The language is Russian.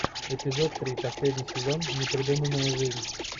эпизод три последний сезон непридуманная жизнь